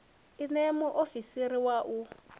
i ṋee muofisiri wa u